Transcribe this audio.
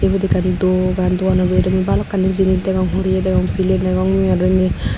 ibot ekkan dogan dogano bidiri mui bhalokkani jinich degong horeyi degong piley degong mui aro indi.